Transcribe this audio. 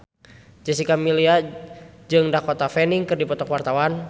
Jessica Milla jeung Dakota Fanning keur dipoto ku wartawan